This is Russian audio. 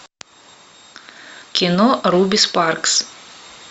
кино руби спаркс